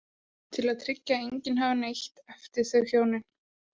Til að tryggja að enginn erfði neitt eftir þau hjónin.